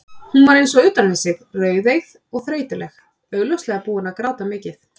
Hún var eins og utan við sig, rauðeygð og þreytuleg, augljóslega búin að gráta mikið.